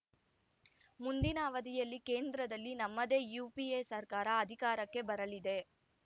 ಮುಂದಿನ ಅವಧಿಯಲ್ಲಿ ಕೇಂದ್ರದಲ್ಲಿ ನಮ್ಮದೇ ಯುಪಿಎ ಸರ್ಕಾರ ಅಧಿಕಾರಕ್ಕೆ ಬರಲಿದೆ